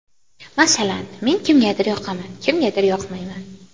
Masalan, men kimgadir yoqaman, kimgadir yoqmayman.